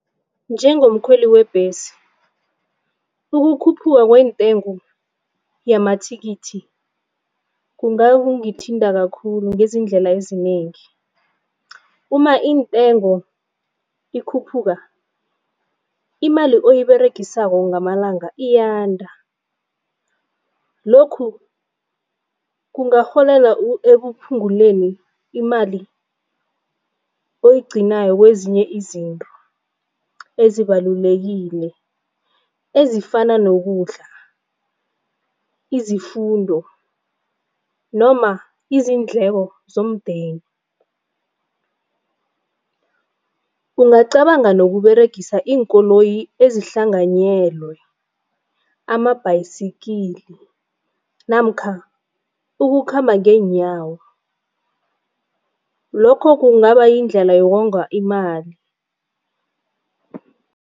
Njengomkhweli webhesi, ukukhuphuka kwentengo yamathikithi kungangithinta khulu ngeendlela ezinengi. [cs Uma intengo ikhuphuka imali oyiberegisako ngamalanga iyanda. Lokhu kungaholela ekuphunguleni imali oyigcinako kwezinye izinto, ezibalulekile ezifana nokudla, imfundo noma iindleko zomndeni. Ungacabanga nokuberegisa iinkoloyi ezihlanganyelwe ama-bicycle namkha ukukhamba ngeenyawo. Lokho kungaba yindlela yokonga imali.